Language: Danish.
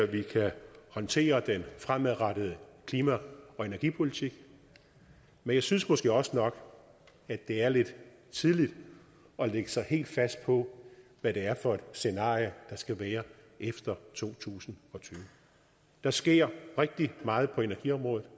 vi kan håndtere den fremadrettede klima og energipolitik men jeg synes måske også nok at det er lidt tidligt at lægge sig helt fast på hvad det er for et scenarie der skal være efter to tusind og tyve der sker rigtig meget på energiområdet